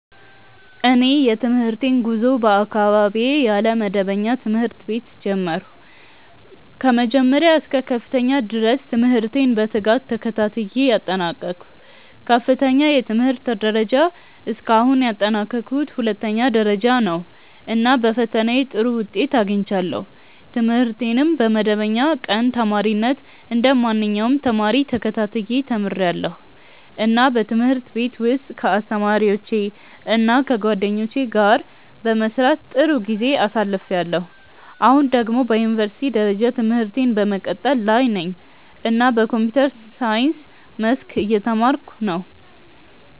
እኔ የትምህርቴን ጉዞ በአካባቢዬ ያለ መደበኛ ትምህርት ቤት ጀመርሁ። ከመጀመሪያ እስከ ከፍተኛ ደረጃ ድረስ ትምህርቴን በትጋት ተከታትዬ አጠናቀቅሁ። ከፍተኛው የትምህርት ደረጃ እስካሁን ያጠናቀቅሁት ሁለተኛ ደረጃ ነው፣ እና በፈተናዬ ጥሩ ውጤት አግኝቻለሁ። ትምህርቴን በመደበኛ ቀን ተማሪነት እንደ ማንኛውም ተማሪ ተከታትዬ ተምርያለሁ፣ እና በትምህርት ቤት ውስጥ ከአስተማሪዎቼ እና ከጓደኞቼ ጋር በመስራት ጥሩ ጊዜ አሳልፍያለሁ። አሁን ደግሞ በዩኒቨርሲቲ ደረጃ ትምህርቴን በመቀጠል ላይ ነኝ እና በኮምፒውተር ሳይንስ መስክ እየተማርኩ ነው።